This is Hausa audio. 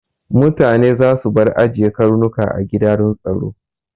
Mutane za su bar ajiye Karnuka a gida don tsaro